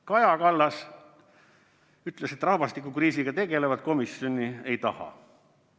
Kaja Kallas ütles, et rahvastikukriisiga tegelevat komisjoni ei taha.